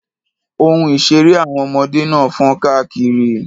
Ohun-ìṣeré àwọn ọmọdé náà fọ́nka kiri.